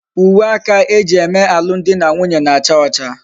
Uwe aka eji eme alum di na nwunye na-acha ocha